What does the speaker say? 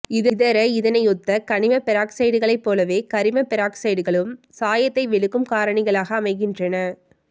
இதர இதனையொத்த கனிம பெராக்சைடுகளைப் போலவே கரிம பெராக்சைடுகளும் சாயத்தை வெளுக்கும் காரணிகளாக அமைகின்றன